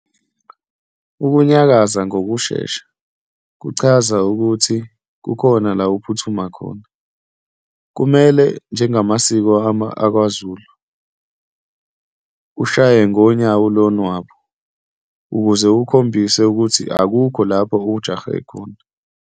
Ukunyakaza ngokushesha kuchaza ukuthi kukhona la uphuthuma khona. Kumele njengemasiko akwaZulu ushaye ngonyawo lonwabu ukuze ukhombise ukuthi akukho lapho ujahe khona.